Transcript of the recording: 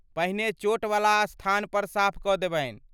पहिने ,चोटवला स्थानपर साफ कऽ देबनि।